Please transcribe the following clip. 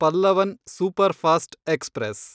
Pallavan superfast express